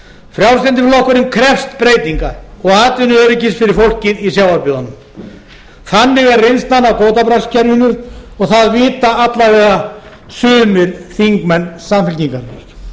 frjálslyndi flokkurinn krefst breytinga og atvinnuöryggis fyrir fólkið í sjávarbyggðunum þannig er reynslan af kvótabraskskerfinu og það vita alla vega sumir þingmenn samfylkingarinnar